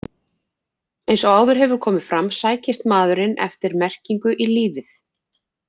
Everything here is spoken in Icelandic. Eins og áður hefur komið fram sækist maðurinn eftir merkingu í lífið.